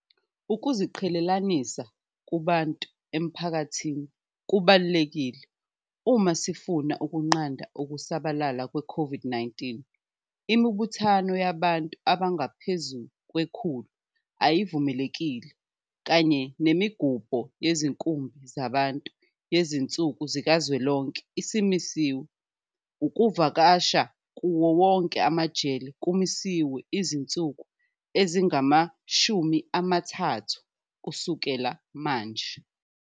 Ukuziqhelelanisa kubantu emphakathini kubalulekile uma sifuna ukunqanda ukusabalala kwe-COVID-19. Imibuthano yabantu abangaphezu kwe-100 ayivumelekile kanye nemigubho yezinkumbi zabantu yezinsuku zikazwelonke isimisiwe. Ukuvakasha kuwo wonke amajele kumisiwe izinsuku ezingama-30 kusuka manje.